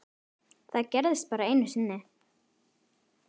Það gerðist bara einu sinni.